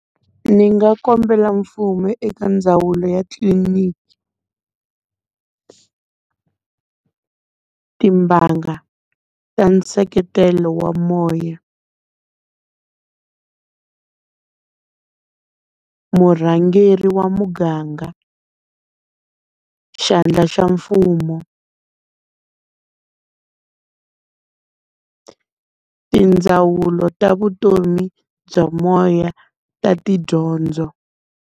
Ni nga kombela mfumo eka ndzawulo ya tliliniki, timbanga ta nseketelo wa moya, murhangeri wa muganga, xandla xa mfumo, tindzawulo ta vutomi bya moya ta tidyondzo.